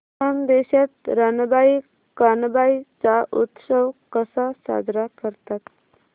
खानदेशात रानबाई कानबाई चा उत्सव कसा साजरा करतात